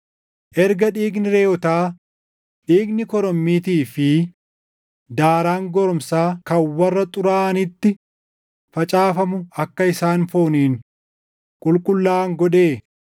Erga dhiigni reʼootaa, dhiigni korommiitii fi daaraan goromsaa kan warra xuraaʼanitti facaafamu akka isaan fooniin qulqullaaʼan godhee,